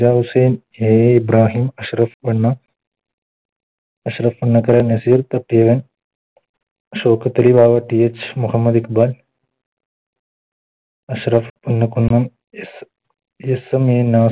AA Ibrahim Shoukathali TH Muhammad Iqbal Ashraf Kunnam